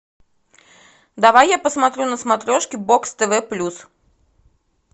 давай я посмотрю на смотрешке бокс тв плюс